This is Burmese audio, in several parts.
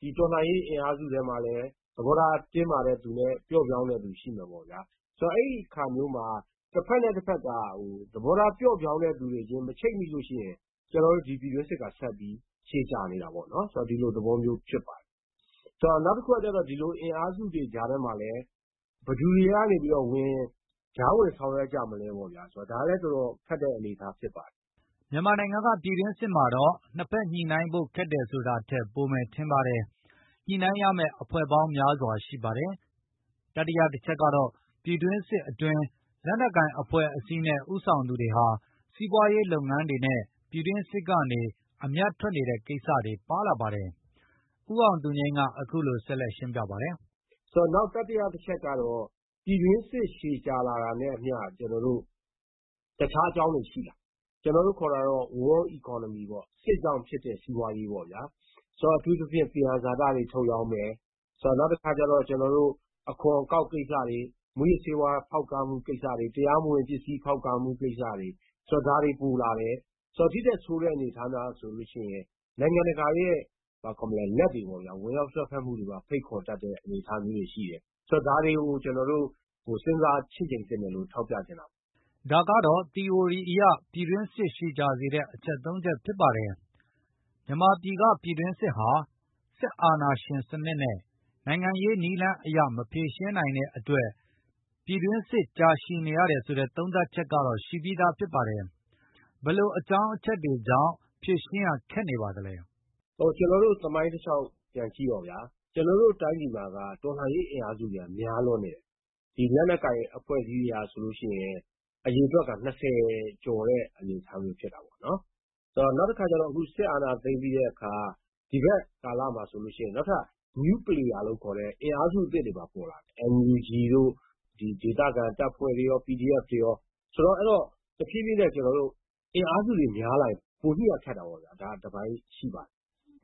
ဒီတော်လှန်ရေးအင်အားစုထဲမှာ လည်းသဘောထားပျော့ပြောင်းသူနဲ့တင်းမာတဲ့သူရှိမယ်ပေါ့ဗျာ၊ ဆိုတော့ အဲဒိအခါမျိုးမှာတဘက် နဲ့တဘက်က ဟို သဘောထားပျော့ပြောင်းတဲ့သူ အခြင်းခြင်းမချိတ်မိလို့ရှိရင် ကျနော်တို့ ဒီပြည်တွင်း စစ်ကဆက်ပြီးရှည်ကြာနေတာပေါ့ ကျနော်တို့ဒီလိုသဘောမျိုး ဖြစ်ပါတယ်။ နောက်တခုကကျတော့ ဒီလိုအင်အားစု တွေကြားထဲမှာလည်းဘယ်သူတွေက ဝင်၊ ကြားဝင်ဆောင်ရွက်ကြမလဲပေါ့ဗျာ ဆိုတော့ဒါကလည်းတော်တော်ခက်တဲ့အနေအထားဖြစ်ပါတယ်။” မြန်မာနိုင်ငံကပြည်တွင်းစစ်မှာတော့ နှစ်ဘက်ညှိနိုင်းဖို့ခက်တယ်ဆိုတာထက်ပိုမယ်ထင်ပါတယ်။ ညှိနိုင်းရမယ့်အဖွဲ့ပေါင်းများစွာရှိပါတယ်။ တတိယအချက်ကတော့ ပြည်တွင်းစစ်အတွင်း လက်နှက်ကိုင် အဖွဲ့အစည်းနဲ့ဦးဆောင်သူတွေဟာ စီးပွားရေးလုပ်ငန်းတွေနဲ့ပြည်တွင်းစစ်ကနေ အမြတ်ထွက်နေ တဲ့ကိစ္စတွေပါလာပါတယ်။ ဦးအောင်သူငြိမ်းကအခုလိုဆက်လက်ရှင်းပြပါတယ်။ “နောက်တတိယအချက်ကတော့ ပြည်တွင်းစစ် ရှည်ကြာလာတာနဲ့အမျှကျနော်တို့ တခြားအကြောင်း တွေရှိလာတယ် ကျနော်တို့ခေါ်တာတော့ War Economy ပေါ့ စစ်ကြောင့်ဖြစ်တဲ့ စီးပွားရေးပေါ့ဗျာ ဆိုတော့ အထူးသဖြင့် သယံဇာတတွေထုတ်ရောင်းမယ်။ ဆိုတော့နောက်တခါကျတော့ ကျနော်တို့ အခွန်အကောက်ကိစ္စတွေမူးယစ်ဆေးဝါး ပစ္စည်းဖေါက်ကားမှုကိစ္စတွေ၊ တရားမဝင်ပစ္စည်းဖေါက်ကားမှု ကိစ္စတွေ ဆိုတော့ဒါတွေပိုလာတယ်။ ဆိုတော့ ဒီထက်ဆိုးတဲ့အနေအထားများဆိုလို့ရှိရင် နိုင်တကာရဲ့ ဘာခေါ်မလဲ လက်တွေပေါ့ဗျာ ဝင်ရောက်စွက်ဖက်မှုတွေကိုပါဖိတ်ခေါ်တတ်တဲ့အနေ အထားမျိုးတွေရှိ တယ်။ ဆိုတော့ဒါတွေကိုကျနော်တို့ ဟိုစဉ်စားချည့်ချိန်သင့်တယ်လို့ထောက်ပြချင်တာပါ။” ဒါကတော့ သီအိုရီအရ ပြည်တွင်းစစ်ရှည်ကြာစေတဲ့အချက် ၃ ချက်ဖြစ်ပါတယ်။ မြန်မာပြည်ကပြည် တွင်းစစ်ဟာ စစ်အာဏာရှင်နစ်နဲ့ နိုင်ငံရေးနည်းလမ်းအရမဖြေရှင်း နိုင်တဲ့အတွက် ပြည်တွင်းစစ် ရှည်ကြာနေရတယ်ဆိုတဲ့သုံးသပ်ချက်ကတော့ရှိပြီးဖြစ်ပါတယ်။ ဘယ်လိုအကြောင်းအချက်တွေ ကြောင့်ဖြေရှင်းရခက်နေပါလဲ။ “ ဟိုကျနော်တို့သမိုင်းတလျောက်ပြန်ကြည့်တော့ဗျာ ကျနော်တို့တိုင်းပြည်မှာက တော်လှန်ရေးအင်အားစု များလွန်းနေတယ် ဒီလက်နှက်ကိုင်အဖွဲ့အစည်းတွေက ဆိုလို့ရှိရင် အရေအတွက်က ၂၀ အနေအထားမျိုးဖြစ်တာပေါ့နော် နောက်တခါကျတော့ အခုစစ်အာဏာသိမ်း ပြီးတဲ့အခါ ဒီဘက်ကာလမှာဆိုရင်နောက်ထပ် New Player လို့ခေါ်တဲ့ အင်အားစုအသစ် တွေပါပေါ်လာတယ်၊ NUG တို့ ဒီဒေသခံတပ်ဖွဲ့တွေရော PDF တွေရော ဆိုတော့ကျနော်တို့ တဖြည်းဖြည်းနဲ့ အင်အားစုတွေများလာတော့ ပိုညှိရခက်တာပေါ့ဗျာ ဒါတပိုင်းရှိပါတယ်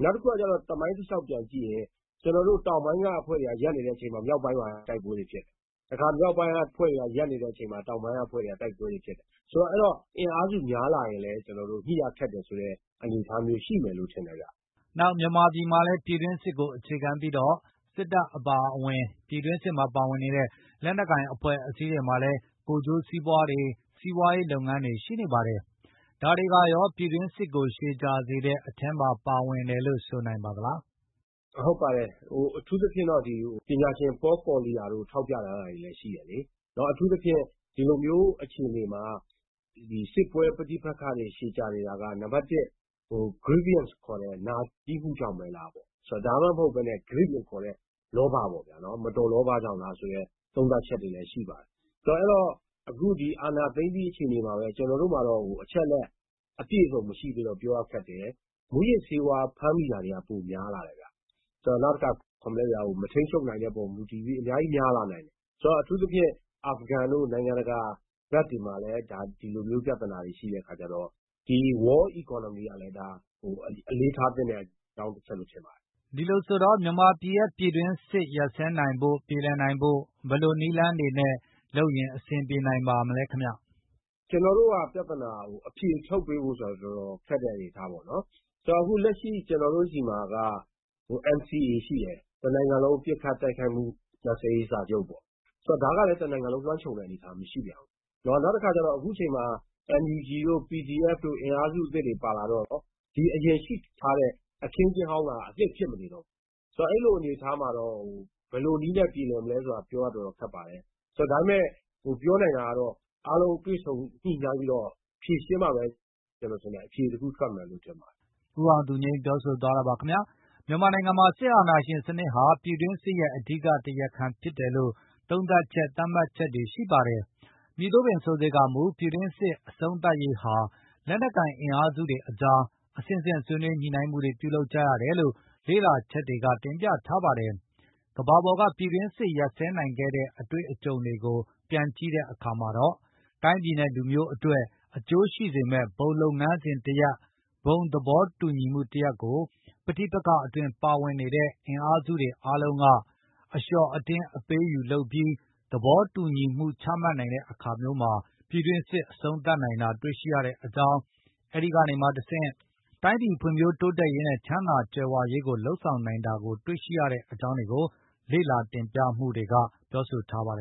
။ နောက်ခု ကကျတော့ သမိုင်းတလျောက် ပြန်ကြည့်ရင် ကျနော်တို့ တောင်ပိုင်းကအဖွဲ့တွေက ရပ်နေတဲ့ အချိန်မှာမြောက်ပိုင်းမှာတိုက်ပွဲတွေဖြစ်နေတယ်၊ တခါမြောက်ပိုင်းက အဖွဲ့တွေကရပ်နေတဲ့အချိန် တောင်ပိုင်းကအဖွဲ့တွေက တိုက်ပွဲတွေဖြစ်တယ် ဆိုတော့ အဲဒိတော့ အင်အားစုများလာရင်လည်း ကျနော်တို့ ညှိရခက်တဲ့အနေအထားမျိုး ရှိမယ်ထင်တယ်ခင်ဗျ။” နောက်မြန်မာပြည်မှာလည်း ပြည်တွင်းစစ်ကို အခြေခံပြီးတော့ စစ်တပ်အပါအဝင် ပြည်တွင်းစစ် မှာပါဝင်နေတဲ့လက်နှက်ကိုင်အဖွဲ့တွေမှာလည်း ကိုယ်ကျိုးစီးပွားတွေ စီးပွားရေးလုပ်ငန်းတွေ ရှိနေပါ တယ်ဒါတွေကရောပြည်တွင်းစစ်ကိုရှည်ကြာစေတဲ့အထဲမှာပါတယ်လို့ဆိုနိုင်ပါသလား။ “ ဟုတ်ပါတယ် ဟိုအထူးသဖြင့်တော့ဟို ပညာရှင်ပေါကော်လီယာတို့ ထောက်ပြထားတာ လည်းရှိ ပါတယ်နော်အထူးသဖြင့် ဒီလိုမျိုး အခြေအနေမှာ ကျနော်တို့ စစ်ပွဲပဋပက္ခတွေရှည်ကြာ နေတာက နံပတ် Grievance ခေါ်တဲ့နာကျည်းမှုကြောင့်ဘဲလား၊ ဆိုတော့ ဒါမှမဟုတ် Greed လို့ခေါ်တဲ့ လောဘပေါ့ဗျာ မတော်လော့ကြောင့်လားဆိုတဲ့ သုံးသပ်ချက်တွေလည်းရှိပါတယ်။ ဆိုတော့ အဲဒိတော့ အခု ဒီအာဏာသိမ်းပြီး အခြေအနေမှာဘဲကျနော်တို့မှာလည်း အချက်အလက်ပြည့်အစုံ မရှိသေးတော့ ပြောရခက်တယ်၊ မူးယစ်ဆေးဝါးဖမ်းမိတာတွေကပိုများလာတယ်ဗျ၊ နောက်တခါ ဘာခေါ်မလဲဗျာ မထိန်းချုပ် နိုင်မှုအပေါ်မှာ မူတည်ပြီးအများကြီးများလာနိုင်တယ်။ ဆိုတော့အထူး သဖြင့် အာဖဂန် တို့နိုင်ငံတကာဘက်တွေမှာလည်း ဒီလိုမျိုးပြဿနာတွေရှိတဲ့အခါကျတော့ ဒီ War Economy ကလည်း အလေးထားသင့်တဲ့ အကြောင်းတချက်ဖြစ်ပါတယ်။” ဒီလိုဆိုတော့ မြန်မာပြည်ရဲ့ပြည်တွင်းစစ်ရပ်ဆဲနိုင်ဖို့ ပြေလည်နိုင်ဖို့ ဘယ်လိုနည်းလမ်းတွေနဲ့လုပ်ရင်ပြေ လည်နိုင်ပါမလဲခင်ဗျ။ “ ကနော်တို့က ပြဿနာက ဟို အဖြေထုတ်ပေးဖို့ ဆိုတာကတော့ တော်တော်ခက် တဲ့အနေအထား ပေါ့နော် ဆိုတော့ အခုလက်ရှိ ကျနော်တို့စီမှာက NCA ရှိတယ် တနိုင်ငံလုံးပစ်ခတ် တိုက်ခိုက်မှုရပ် ဆဲရေးစာချုပ်ပေါ့ ဆိုတော့ဒါကလည်းတနိုင်ငံလုံးလွှမ်းခြုံတဲ့ အနေအထား မရှိပြန်ဘူး။ နောက်အခု အခုချိန်မှာ NUG တို့ PDF တို့အင်အားစုအသစ်တွေပါလာတော့ အရင်ဖြစ်နေတဲ့အခင်း အကျင်းဟောင်း ကအသစ်ဖြစ်မနေတော့ဘူး၊ ဆိုတော့ အဲလိုအနေအထားမှာ တော့ ဘယ်လိုနည်းနဲ့ ပြောလည်မလဲ ဆိုတာ ပြောရတော်တော်ခက်ပါတယ်။” မြန်မာနိုင်ငံမှာ စစ်အာဏာရှင်စနစ်ဟာ ပြည်တွင်းစစ်ရဲ့အဓိကတရားခံဖြစ်တယ်လို့ သုံးသပ်ချက်၊ သတ်မှတ်ချက်တွေရှိပါတယ်။ မည်သို့ပင်ဆိုစေကာမူ ပြည်တွင်းစစ်အဆုံးသတ်ရေးဟာ လက်နှက်ကိုင် အင်အားစုတွေအကြား အဆင့်ဆင့်ဆွေးနွေးညှိနိုင်းမှုတွေပြုလုပ်ကြရတယ်လို့ လေ့လာချက်တွေက တင်ပြထားပါတယ်။ ကမ္ဘာပေါ်ကပြည်တွင်းစစ်တွေရပ်ဆဲနိုင်ခဲ့တဲ့ အတွေ့အကြုံတွေကိုပြန်ကြည်တဲ့ အခါမှာတော့ တိုင်းပြည်နဲ့လူမျိုးအတွက် အကျိုးရှိစေမယ့် ဘုံလုပ်ငန်းစဉ်တရပ်၊ ဘုံသဘောတူညီမှု တရပ်ကို ပဋိပက္ခအတွင်းပါဝင်နေတဲ့ အင်အားစုတွေအားလုံးက အလျော့အတင်းအပေးအယူလုပ်ပြီး သဘောတူချမှတ်နိုင်တဲ့အခါမျိုးမှာ ပြည်တွင်းစစ်ကိုအဆုံးသတ်နိုင်တာတွေ့ရှိရကြောင်းနဲ့ အဲဒိကနေမှ တဆင့် တိုင်းပြည်ဖွင့်ဖြိုးတိုးတက်ရေးနဲ့ ချမ်းသာကြွယ်ဝရေးကိုလုပ်ဆောင်နိုင်တာကို တွေ့ရှိရကြောင်း လေ့လာတင်ပြမှုတွေကဆိုပါတယ်။